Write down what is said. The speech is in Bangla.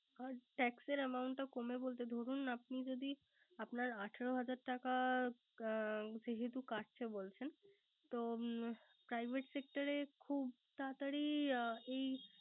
Sir tax amount টা কমে বলতে দরুন আপনার যদি আপনার আঠারো হাজার টাকা যেহেতু কাটছেন বলছেন। তো Private sector খুব তারাতারি এই